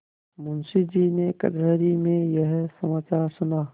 मुंशीजी ने कचहरी में यह समाचार सुना